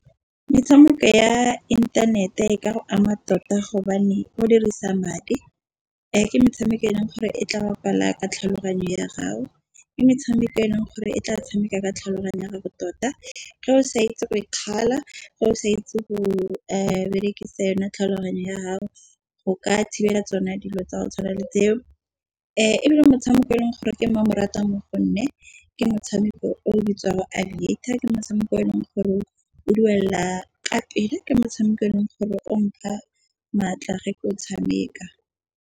Metshameko ya internet e ka go ama tota gobane o dirisa madi a ke metshameko e leng gore e tla bapala ka tlhaloganyo ya gago. Ke metshameko e leng gore e tla tshameka ka tlhaloganyo ya gago tota. Ga o sa itse go berekisa yone tlhaloganyo ya gago go ka thibela tsone dilo tsa go tshwana le tseo, e bile motshameko e leng gore ke mmamoratwa mo gonne ke motshameko o bitswago Aviator ke motshameko eleng gore o duela ka pele. Ke motshameko e leng gore o ntlha maatla ge ke o tshameka.